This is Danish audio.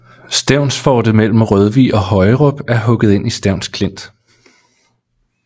Stevnsfortet mellem Rødvig og Højerup er hugget ind i Stevns Klint